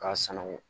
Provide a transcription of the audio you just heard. K'a sanangɔ